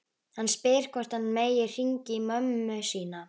Hann spyr hvort hann megi hringja í mömmu sína.